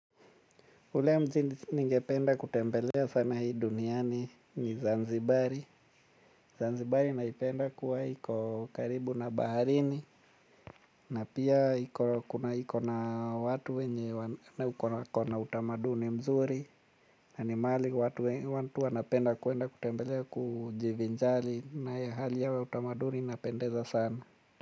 Ule mji ningependa kutembelea sana hii duniani ni zanzibari Zanzibari naipenda kuwa iko karibu na Baharini. Na pia iko na watu wenye wako na utamaduni mzuri na ni mahali watu wanapenda kwenda kutembelea kujivinjari na hali yao ya utamaduni inapendeza sana.